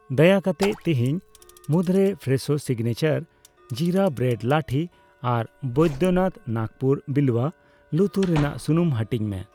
ᱫᱟᱭᱟ ᱠᱟᱛᱮ ᱛᱤᱦᱤᱧ ᱢᱩᱫᱨᱮ ᱯᱷᱨᱮᱥᱳ ᱥᱤᱜᱱᱮᱪᱟᱨ ᱡᱤᱨᱟ ᱵᱨᱮᱰ ᱞᱟᱹᱴᱷᱤ ᱟᱨ ᱵᱚᱭᱫᱚᱱᱟᱛᱷ ᱱᱟᱜᱯᱩᱨ ᱵᱤᱞᱣᱭᱟ ᱞᱩᱛᱩᱨ ᱨᱮᱱᱟᱜ ᱥᱩᱱᱩᱢ ᱦᱟᱹᱴᱤᱧ ᱢᱮ ᱾